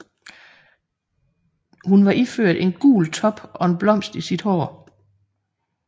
Hun var iført en gul top og en blomst i sit hår